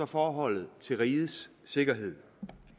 forholdet til rigets sikkerhed